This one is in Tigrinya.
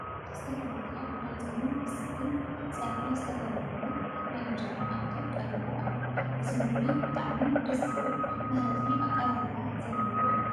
ዝተፈላለየ ናይ ፆምን ፍስክን ፀብሒ ዝተገበረሉ ናይ እንጀራ መኣዲ ቀሪቡ ኣሎ፡፡ እዚ ምግቢ ብጣዕሚ ደስ ዝብል መህረፊ ኣቀራርባ ዘለዎ እዩ፡፡